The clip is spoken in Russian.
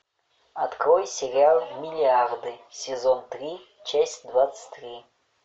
открой сериал миллиарды сезон три часть двадцать три